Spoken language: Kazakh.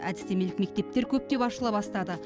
әдістемелік мектептер көптеп ашыла бастады